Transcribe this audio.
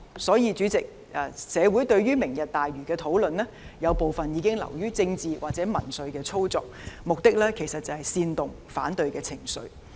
所以，主席，社會對於"明日大嶼"的討論，有部分已經流於政治或民粹操作，目的是煽動反對情緒。